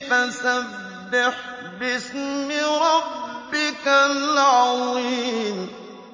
فَسَبِّحْ بِاسْمِ رَبِّكَ الْعَظِيمِ